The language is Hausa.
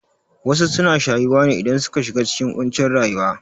Wasu suna shayuwa ne idan suka shiga cikin ƙuncin rayuwa